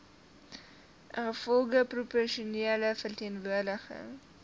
ingevolge proporsionele verteenwoordiging